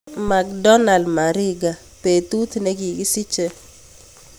Macdonald mariga betut negigisiche